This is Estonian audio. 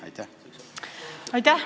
Aitäh!